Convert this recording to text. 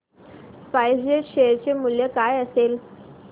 spice jet share चे मूल्य काय असेल